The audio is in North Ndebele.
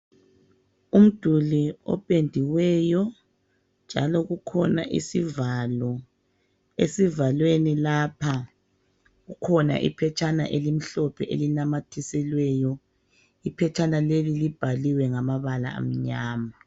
Umduli opendiweyo njalo kukhona isivalo, esivalweni lapha kukhona iphetshana elimhlophe elinamathiselweyo, iphetshana leli libhaliwe ngamabala amnyama.